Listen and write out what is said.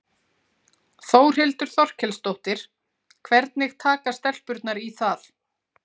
Þórhildur Þorkelsdóttir: Hvernig taka stelpurnar í það?